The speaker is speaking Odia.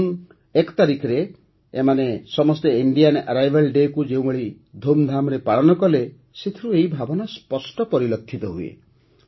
ଜୁନ ୧ ତାରିଖରେ ଏମାନେ ସମସ୍ତେ ଇଣ୍ଡିଆନ ଏରାଇଭାଲ୍ ଡେ'କୁ ଯେଉଁଭଳି ଧୁମ୍ଧାମ୍ରେ ପାଳନ କଲେ ସେଥିରୁ ଏହି ଭାବନା ସ୍ପଷ୍ଟ ପରିଲକ୍ଷିତ ହୁଏ